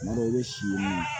Tuma dɔ la i bɛ si